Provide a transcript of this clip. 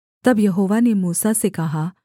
तब यहोवा ने मूसा से कहा